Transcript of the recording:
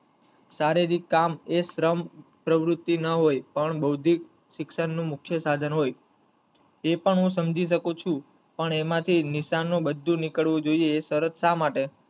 શારીરિક કામ એ શ્રમ પ્રવુતિ ન હોય પણ બૌદ્ધિક શિક્ષણ નું મુખ્ય સાધન હોય એ પણ હું સમજી શકું છું પણ એમાં થી નિશાનો બધું નીકળવું જોયે એ શરત સા માટે